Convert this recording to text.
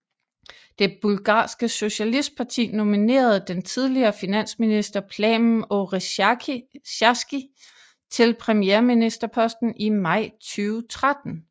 Det bulgarske socialistparti nominerede den tidligere finansminister Plamen Oresharski til premierministerposten i maj 2013